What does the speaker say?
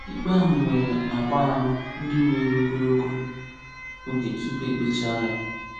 Ikpe ahụ nwere agba anọ ndị were ogologo oge tupu e kpechaa ya.